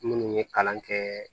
Minnu ye kalan kɛ